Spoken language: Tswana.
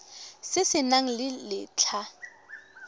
se se nang le letlha